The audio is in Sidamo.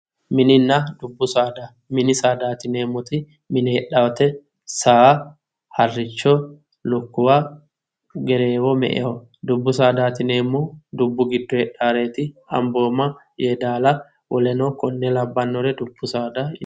Mininna dubbu saada, mini saada yinneemmoti mine heedhanote, saa ,haricho, lukkuwa ,Gerreewo, me"e ,dubbu saadati yinneemmori dubbu giddo heedhanoreti Amboma, Yedalla woleno kuri labbanore dubbu saada yinne